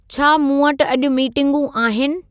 छा मूं वटि अॼु मीटिंगूं आहिनि